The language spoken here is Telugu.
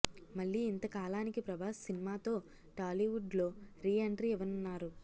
మళ్లీ ఇంతకాలానికి ప్రభాస్ సిన్మాతో టాలీవుడ్ లో రీఎంట్రీ ఇవ్వనున్నారు